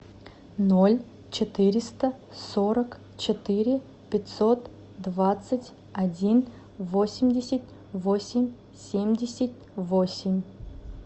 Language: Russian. ноль четыреста сорок четыре пятьсот двадцать один восемьдесят восемь семьдесят восемь